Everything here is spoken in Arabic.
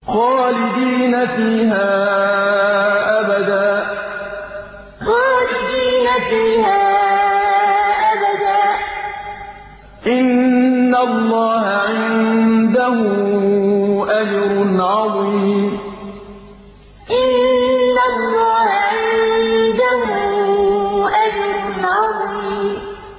خَالِدِينَ فِيهَا أَبَدًا ۚ إِنَّ اللَّهَ عِندَهُ أَجْرٌ عَظِيمٌ خَالِدِينَ فِيهَا أَبَدًا ۚ إِنَّ اللَّهَ عِندَهُ أَجْرٌ عَظِيمٌ